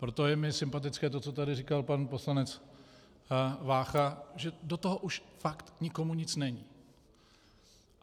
Proto je mi sympatické to, co tady říkal pan poslanec Vácha, že do toho už fakt nikomu nic není.